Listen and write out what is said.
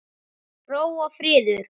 Ró og friður.